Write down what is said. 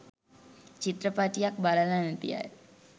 චිත්‍රපටියක් බලලා නැති අය